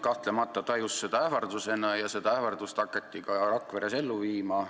Ühiskond tajus seda kahtlemata ähvardusena ja seda ähvardust hakati Rakveres ka ellu viima.